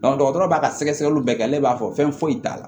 dɔgɔtɔrɔ b'a ka sɛgɛsɛgɛliw bɛɛ kɛ ne b'a fɔ fɛn foyi t'a la